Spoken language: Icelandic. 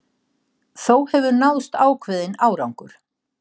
Þó hefur náðst ákveðinn árangur